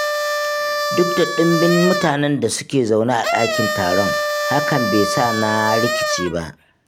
Duk da ɗumbin mutanen da su ke zaune a ɗakin taron, hakan be sa na rikice ba.